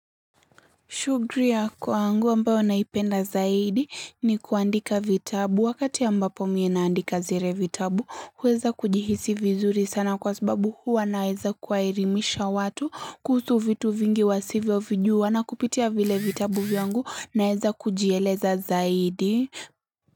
Shugri ya kwangu ambao naipenda zaidi ni kuandika vitabu wakati ambapo mi naandika zire vitabu huweza kujihisi vizuri sana kwa sababu huwa naeza kuwaerimisha watu kuhusu vitu vingi wasivyo vijuwa na kupitia vile vitabu vyangu naeza kujieleza zaidi.